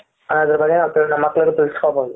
ಅನ್ನೋದ್ರು ಬಗ್ಗೆ ನಮ್ಮ ಮಕ್ಕಳಿಗೂ ತಿಳಿಸಿಕೊಡಬಹುದು.